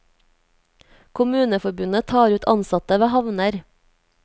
Kommuneforbundet tar ut ansatte ved havner.